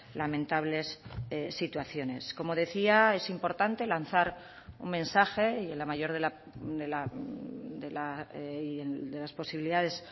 lamentables situaciones como decía es importante lanzar un mensaje y en la mayor de las posibilidades